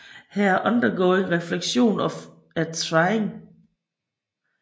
Her er undergoing refleksionen af trying